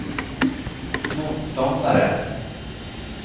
motståndare